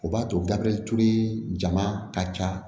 O b'a to gabe tulu jama ka ca